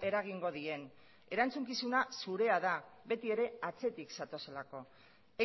eragingo dien erantzukizuna zurea da beti ere atzetik zatozelako